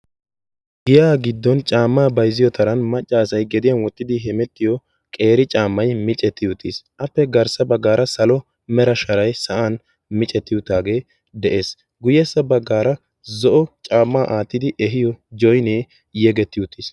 Giya giddon caamma bayzziyo taran maccassay gediyan wottidi hemetiyo qeeri caammay micceeti uttiis. appe garssa baggara salo mera sharay mecceti uttaage de'ees. guyyessa baggara zo'o caammay aattidi eehiyo joynne yegeti uttiis.